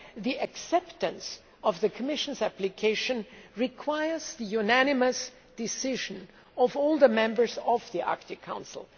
The acceptance of the Commission's application requires the unanimous decision of all the members of the Arctic Council.